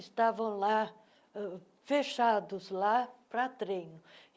Estavam lá uh, fechados lá para treino.